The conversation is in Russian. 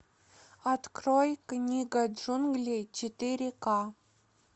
открой книга джунглей четыре ка